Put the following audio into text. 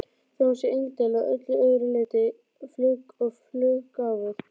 Þó hún sé indæl að öllu öðru leyti og fluggáfuð.